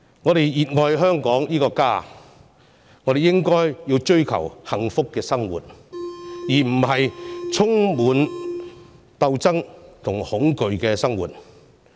我們熱愛香港這個家，我們應該追求幸福的生活，而不是充滿鬥爭和恐懼的生活。